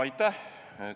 Aitäh!